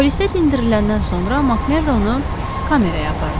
Polisdə dindiriləndən sonra Makmerdonu kameraya apardılar.